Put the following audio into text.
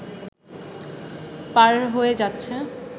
পার হয়ে যাচ্ছে